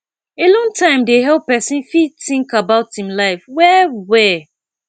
alone time dey help person fit think about im life well well